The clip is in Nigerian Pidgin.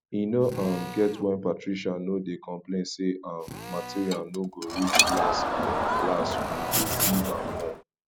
e no um get when patricia no dey complain say um material no go reach las um las we go give am more